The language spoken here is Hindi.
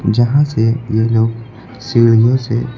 जहां से ये लोग सीढ़ियों से--